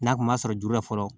N'a kun ma sɔrɔ juru la fɔlɔ